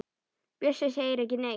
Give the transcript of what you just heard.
Bjössi segir ekki neitt.